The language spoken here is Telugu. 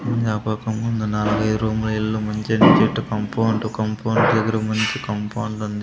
జ్ఞాపకం ముందు నా పేరు మా ఇల్లు కాంపౌండు కాంపౌండ్ దగ్గర మంచి కాంపౌండు ఉంది.